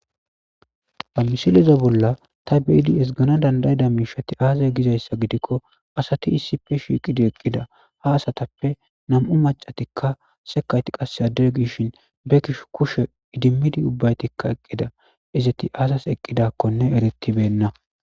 Ha mishiliza bolla ta biidi esgana dandayida miishati aazay gizayssa gidikko asati issife shiiqidi eqqida ha asatappe nam7u macatikka sekayti qasse addere gishin be kish kushe idimmidi ubbaytikka eqqida izati aazas eqqidakkone eretibenna.